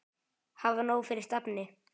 Hafa nóg fyrir stafni.